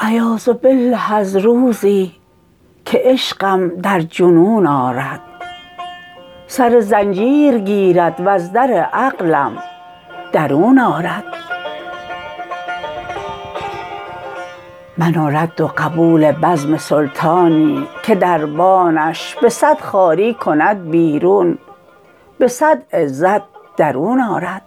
عیاذباله از روزی که عشقم در جنون آرد سر زنجیر گیرد و ز در عقلم درون آرد من و رد و قبول بزم سلطانی که دربانش به سد خواری کند بیرون به سد عزت درون آرد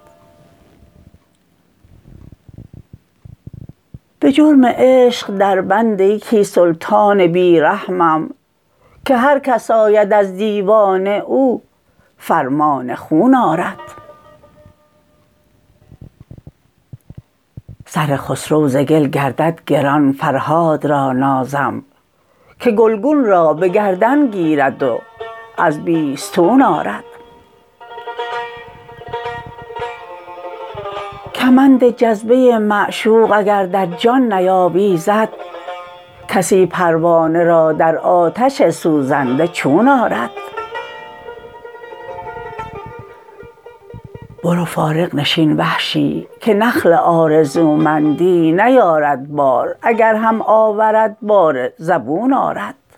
به جرم عشق دربند یکی سلطان بی رحمم که هرکس آید از دیوان او فرمان خون آرد سر خسرو ز گل گردد گران فرهاد را نازم که گلگون را به گردن گیرد و از بیستون آرد کمند جذبه معشوق اگر در جان نیاویزد کسی پروانه را در آتش سوزنده چون آرد برو فارغ نشین وحشی که نخل آرزومندی نیارد بار اگر هم آورد بار زبون آرد